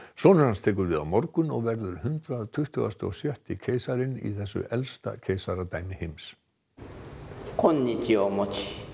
sonur hans tekur við á morgun og verður hundrað tuttugasti og sjötti keisarinn í þessu elsta samfellda keisaradæmi heims